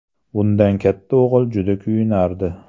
Bundan katta o‘g‘il juda kuyunardi.